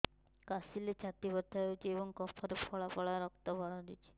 କାଶିଲେ ଛାତି ବଥା ହେଉଛି ଏବଂ କଫରେ ପଳା ପଳା ରକ୍ତ ବାହାରୁଚି